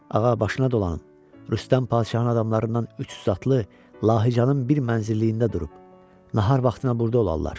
Ağa başına dolanıb, Rüstəm Padşahın adamlarından 300 atlı Lahıcanın bir mənzilliyində durub, nahar vaxtına burda olarlar.